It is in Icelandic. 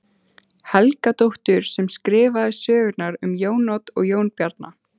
Helgadóttur sem skrifaði sögurnar um Jón Odd og Jón Bjarna.